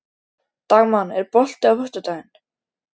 Dagmann, er bolti á föstudaginn?